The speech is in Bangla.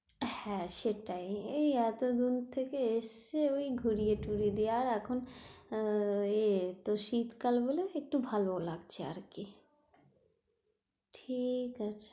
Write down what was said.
হ্যাঁ সেটাই, এই এতদূর থেকে এসছে ওই ঘুরিয়ে টুরিয়ে দিয়ে আর এখন আহ এ তোর শীতকাল বলে একটু ভালো লাগছে আর কি ঠিক আছে,